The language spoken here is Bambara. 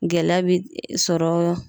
Gɛlɛya be sɔrɔ